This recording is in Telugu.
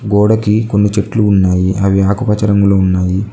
గోడకి కొన్ని చెట్లు ఉన్నాయి అవి ఆకుపచ్చ రంగులో ఉన్నాయి.